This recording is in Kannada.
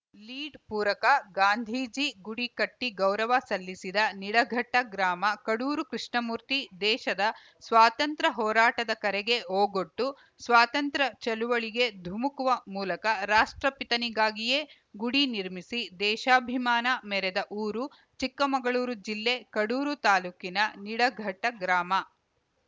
ಲೀಡ್‌ ಪೂರಕ ಗಾಂಧೀಜಿ ಗುಡಿ ಕಟ್ಟಿಗೌರವ ಸಲ್ಲಿಸಿದ ನಿಡಘಟ್ಟಗ್ರಾಮ ಕಡೂರು ಕೃಷ್ಣಮೂರ್ತಿ ದೇಶದ ಸ್ವಾತಂತ್ರ್ಯ ಹೋರಾಟದ ಕರೆಗೆ ಓಗೊಟ್ಟು ಸ್ವಾತಂತ್ರ್ಯ ಚಳವಳಿಗೆ ಧುಮುಕುವ ಮೂಲಕ ರಾಷ್ಟ್ರಪಿತನಿಗಾಗಿಯೇ ಗುಡಿ ನಿರ್ಮಿಸಿ ದೇಶಾಭಿಮಾನ ಮೆರೆದ ಊರು ಚಿಕ್ಕಮಗಳೂರು ಜಿಲ್ಲೆ ಕಡೂರು ತಾಲೂಕಿನ ನಿಡಘಟ್ಟಗ್ರಾಮ